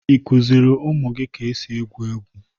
Ị kụziri ụmụ gị ka esi egwu egwu?